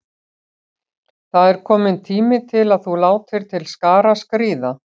Það er kominn tími til að þú látir til skarar skríða.